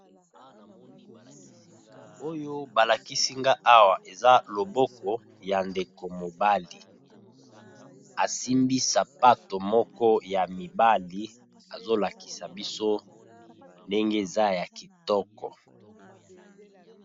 Oyo ba lakisi nga awa, eza loboko ya ndeko mobali. A simbi sapato moko ya mibali, azo lakisa biso ndenge eza ya kitoko..